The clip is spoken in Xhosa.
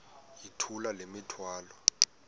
yithula le mithwalo